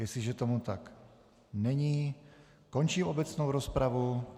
Jestliže tomu tak není, končím obecnou rozpravu.